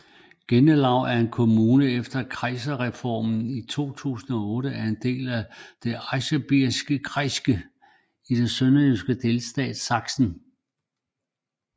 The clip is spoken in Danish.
Gelenau er en kommune som efter Kreisreformen i 2008 er en del af Erzgebirgskreis i den tyske delstat Sachsen